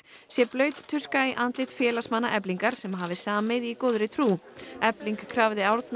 sé blaut tuska í andlit félagsmanna Eflingar sem hafi samið í góðri trú efling krafði Árna